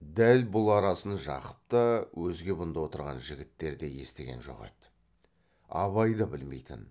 дәл бұл арасын жақып та өзге бұнда отырған жігіттер де естіген жоқ еді абай да білмейтін